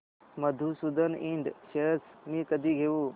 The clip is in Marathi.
मधुसूदन इंड शेअर्स मी कधी घेऊ